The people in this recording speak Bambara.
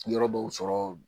Yɔrɔ dɔw sɔrɔ